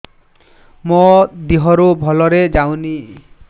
ମୋ ଦିହରୁ ଭଲରେ ଯାଉନି